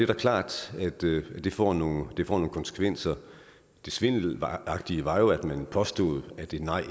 da klart at det får nogle konsekvenser det svindelagtige var jo at man påstod at et nej